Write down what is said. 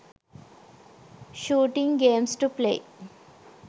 shooting games to play